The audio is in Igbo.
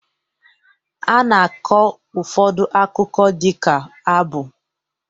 A na-akọ ụfọdụ akụkọ dịka abụ